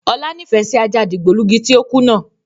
Ọlá nifẹ síí ajá dìgbòlugi tí ó kú náà